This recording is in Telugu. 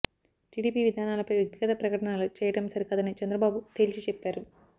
టీడీపీ విధానాలపై వ్యక్తిగత ప్రకటనలు చేయడం సరికాదని చంద్రబాబు తేల్చి చెప్పారు